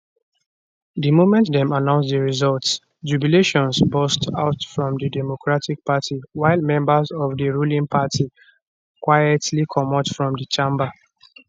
di moment dem announce di results jubilations burst out from di democratic party while members of di ruling party quietly comot from di chamber